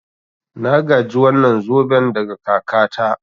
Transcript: Na gaji wannan zoben daga kakata.